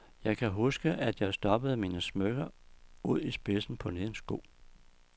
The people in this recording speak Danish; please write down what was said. Jeg kan huske, at jeg stoppede mine smykker ud i spidsen på den ene sko.